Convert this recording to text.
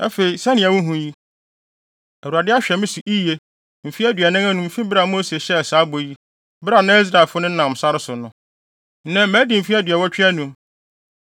“Afei, sɛnea wuhu yi, Awurade ahwɛ me so yiye mfe aduanan anum fi bere a Mose hyɛɛ saa bɔ yi bere a na Israelfo nenam sare so no. Nnɛ, madi mfe aduɔwɔtwe anum.